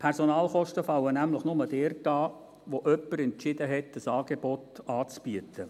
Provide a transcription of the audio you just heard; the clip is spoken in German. Personalkosten fallen nämlich nur dort an, wo jemand entschieden hat, ein Angebot anzubieten.